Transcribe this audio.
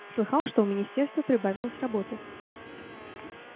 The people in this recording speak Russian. слыхал что у министерства прибавилось работы